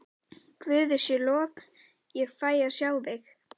Guði sé lof ég fæ að sjá þig.